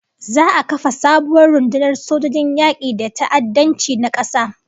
Za'a kafa sabuwar rundunar sojojin yaki day ta'addanci na kasa